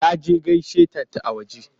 Ya je gaishe ta a waje.